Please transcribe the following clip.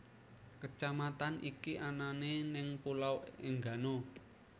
Kecamatan iki anane neng Pulo Enggano